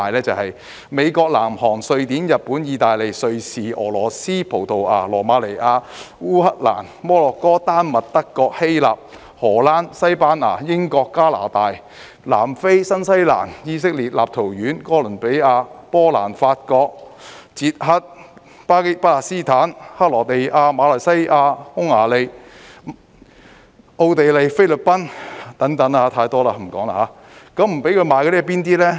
就是美國、南韓、瑞典、日本、意大利、瑞士、俄羅斯、葡萄牙、羅馬尼亞、烏克蘭、摩洛哥、丹麥、德國、希臘、荷蘭、西班牙、英國、加拿大、南非、新西蘭、以色列、立陶宛、哥倫比亞、波蘭、法國、捷克、巴勒斯坦、克羅地亞、馬來西亞、匈牙利、奧地利、菲律賓等，太多了，不說了。